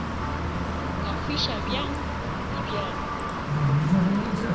ka fiša bjang le bjang